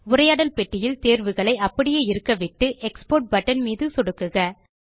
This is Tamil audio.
உரையாடல் பெட்டியில் தேர்வுகளை அப்படியே இருக்கவிட்டு எக்ஸ்போர்ட் பட்டன் மீது சொடுக்குக